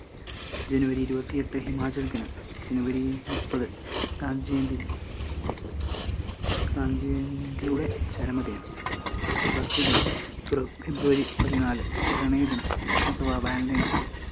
ജനുവരി ഇരുപത്തിയെട്ട് ഹിമാചൽ ദിനം ജനുവരി മുപ്പത് ഗാന്ധിജയന്തി ഗാന്ധിജയന്തിയുടെ ചരമ ദിനം, രക്തസാക്ഷി ദിനം, ഫെബ് ~ ഫെബ്രുവരി പതിനാല് പ്രണയദിനം അഥവാ valentines day